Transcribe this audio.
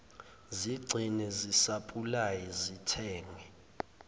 zigcine zisapulaye zithenge